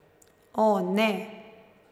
O, ne.